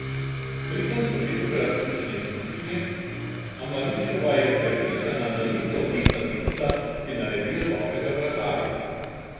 Pri tem so velikokrat ključne izkušnje, a Marinčkova je prepričana, da niso leta tista, ki naredijo dobrega vratarja.